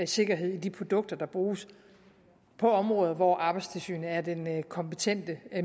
sikkerhed i de produkter der bruges på områder hvor arbejdstilsynet er den kompetente